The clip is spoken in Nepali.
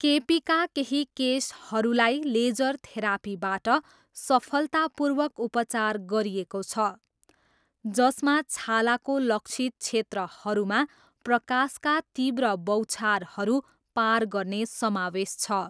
केपीका केही केसहरूलाई लेजर थेरापीबाट सफलतापूर्वक उपचार गरिएको छ, जसमा छालाको लक्षित क्षेत्रहरूमा प्रकाशका तीव्र बौछारहरू पार गर्ने समावेश छ।